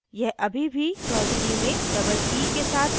यह अभी भी choudhuree में double e के साथ मेल नहीं खाता